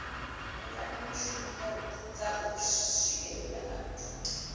mbekanyamishumo dza u swikelela vhathu